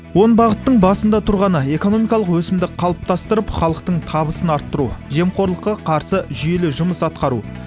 он бағыттың басында тұрғаны экономикалық өсімді қалыптастырып халықтың табысын арттыру жемқорлыққа қарсы жүйелі жұмыс атқару